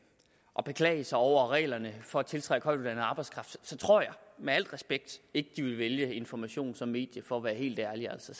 og beklage sig over reglerne for at tiltrække højtuddannet arbejdskraft så tror jeg med al respekt ikke de ville vælge information som medie for at være helt ærlig så